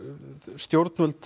stjórnvöld